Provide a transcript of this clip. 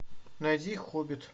найди хоббит